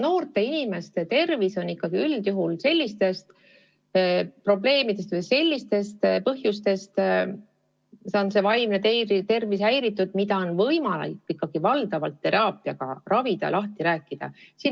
Noorte inimeste vaimne tervis on ju üldjuhul häiritud ikkagi sellistest probleemidest või põhjustest, mida on võimalik valdavalt teraapiaga lahendada, lahti rääkida.